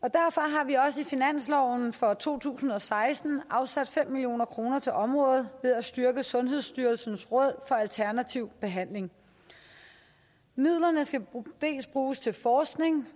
har vi også i finansloven for to tusind og seksten afsat fem million kroner til området ved at styrke sundhedsstyrelsens råd for alternativ behandling midlerne skal dels bruges til forskning